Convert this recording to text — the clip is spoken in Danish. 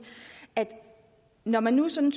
at når man nu sådan